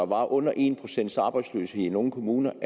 var under en procent arbejdsløshed i nogle kommuner